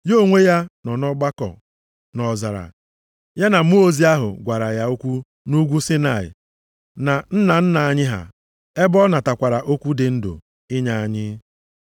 Ya onwe ya nọ nʼọgbakọ nʼọzara, ya na mmụọ ozi ahụ gwara ya okwu nʼUgwu Saịnaị, na nna nna anyị ha; ebe ọ natakwara okwu dị ndụ + 7:38 Okwu si nʼọnụ Chineke pụta inye anyị.